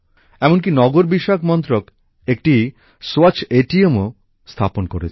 এমনকি নগরোন্নয়ন মন্ত্রক একটি স্বচ্ছ এটিএম স্থাপনও করেছে